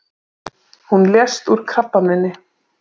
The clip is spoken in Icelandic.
Hún lést úr krabbameini.